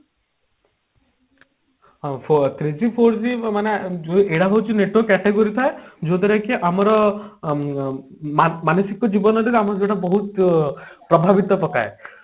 ହଁ three G four G ମାନେ ଯୋଉ ଏଟା ହଉଛି network category ଥାଏ ଯୋଉଥିରେ କି ଆମର ଉଁ ଅ ମାନ ମାନସିକ ଜୀବନ ସେଟା ଆମକୁ ସେଟା ପ୍ରଭାବିତ ପକାଏ